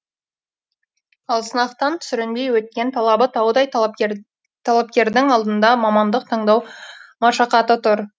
ал сынақтан сүрінбей өткен талабы таудай талапкердің алдында мамандық таңдау машақаты тұр